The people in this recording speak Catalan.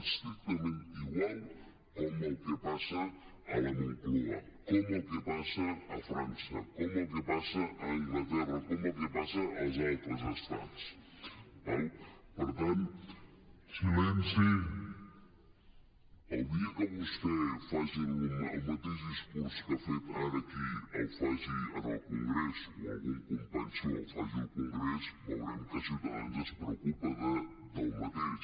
estrictament igual com el que passa a la moncloa com el que passa a frança com el que passa a anglaterra com el que passa als altres estats d’acord per tant el dia que vostè faci el mateix discurs que ha fet ara aquí el faci en el congrés o algun company seu el faci al congrés veurem que ciutadans es preocupa del mateix